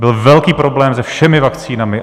Byl velký problém se všemi vakcínami.